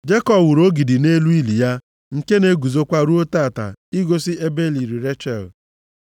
Jekọb wuru ogidi nʼelu ili ya, nke na-eguzokwa ruo taa, igosi ebe e liri Rechel.